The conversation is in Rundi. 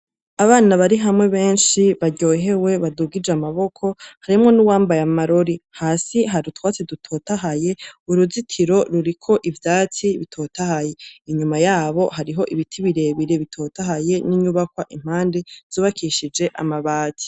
Abana bari hamwe benshi baryohewe badugije amaboko, harimwo n'uwambaye amarori. Hasi hari utwatsi dutotahaye. Uruzitiro ruriko ivyatsi bitotahaye. Inyuma yabo hariho ibiti birebire bitotahaye , n'nyubakwa impande zubakishijwe amabati.